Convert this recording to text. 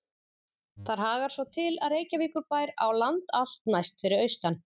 Þar hagar svo til, að Reykjavíkurbær á land allt næst fyrir austan